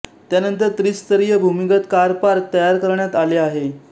त्यानंतर त्रिस्तरीय भूमिगत कार पार्क तयार करण्यात आले आहे